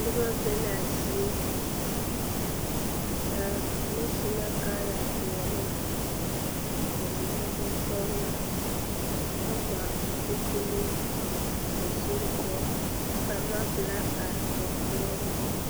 Noba be la a zie ba mine subla kaayɛ peɛle ba mine bonsɔgelɔ kyɛ GBA zupile ba zuri poɔ kyɛ ka lɔpelaa are ba puoriŋ